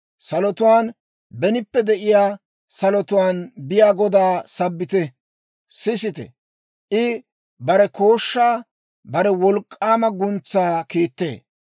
salotuwaan, benippe de'iyaa salotuwaan biyaa Godaa sabbite. Sisite! I bare kooshshaa, bare wolk'k'aama guntsaa kiittee.